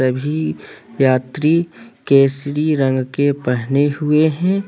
सभी यात्री केसरी रंग के पहने हुए हैं।